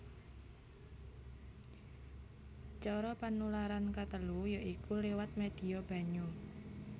Cara panularan katelu ya iku liwat médhia banyu